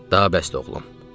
Daha bəsdir, oğlum.